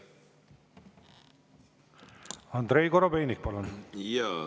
Andrei Korobeinik, palun!